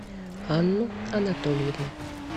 анну анатольевну